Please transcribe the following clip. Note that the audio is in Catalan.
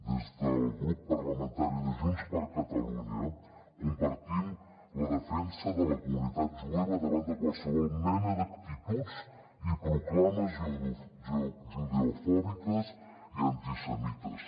des del grup parlamentari de junts per catalunya compartim la defensa de la comunitat jueva davant de qualsevol mena d’actituds i proclames judeofòbiques i antisemites